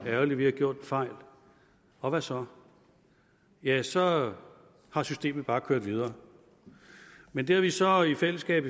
at vi har gjort en fejl og hvad så ja så har systemet bare kørt videre men det har vi så i fællesskab